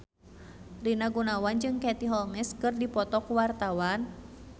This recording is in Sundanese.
Rina Gunawan jeung Katie Holmes keur dipoto ku wartawan